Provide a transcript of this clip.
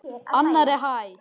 Annarri hæð.